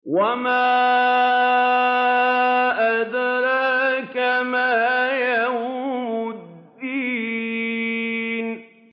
وَمَا أَدْرَاكَ مَا يَوْمُ الدِّينِ